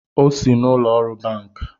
Ọ sị n’ụlọọrụ banki